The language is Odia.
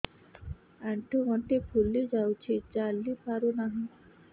ଆଂଠୁ ଗଂଠି ଫୁଲି ଯାଉଛି ଚାଲି ପାରୁ ନାହିଁ